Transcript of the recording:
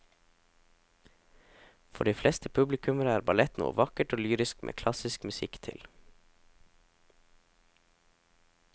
For de fleste publikummere er ballett noe vakkert og lyrisk med klassisk musikk til.